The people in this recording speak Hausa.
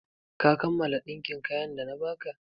Ka kammala ɗinkin kayan da na ba ka?